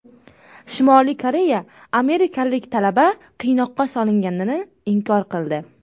Shimoliy Koreya amerikalik talaba qiynoqqa solinganini inkor qildi.